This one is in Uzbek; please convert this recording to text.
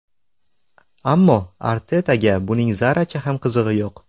Ammo Artetaga buning zarracha ham qizig‘i yo‘q.